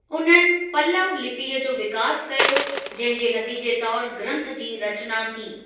उन्हनि पल्लव लिपीअ जो विकास कयो, जहिं जे नतीजे तौर ग्रंथ जी रचना थी।